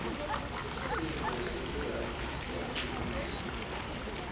sisinduo selirandi siyancumisa